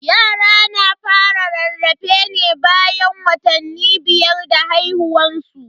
Yara na fara rarrafe ne bayan watanni biyar da haihuwan su.